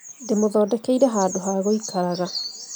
Ndĩmuthondekeire handũha gũikaraga